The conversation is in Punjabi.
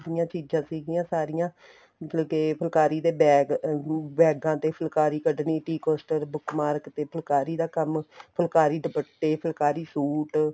ਦੀਆ ਚੀਜ਼ਾਂ ਸੀਗੀਆਂ ਸਾਰੀਆਂ ਮਤਲਬ ਕੇ ਫੁਲਕਾਰੀ ਦੇ bag ਅਹ ਬੈਗਾਂ ਦੇ ਫੁਲਕਾਰੀ ਕੱਢਣੀ tea costar book mark ਤੇ ਫੁਲਾਕਰੀ ਦਾ ਕੰਮ ਫੁਲਕਾਰੀ ਦੁਪੱਟੇ ਫ਼ੁਲ੍ਕਾਰੀ suit